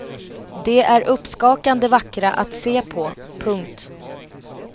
De är uppskakande vackra att se på. punkt